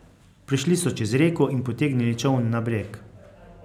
Prišli so čez reko in potegnili čoln na breg.